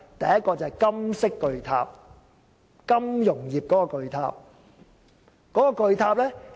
第一個是金色巨塔，即金融業的巨塔。